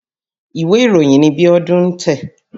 Ìwé ìròyìn ni Bíọ́dún ń tẹ̀.